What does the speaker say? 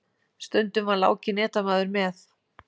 Stundum var Láki netamaður með.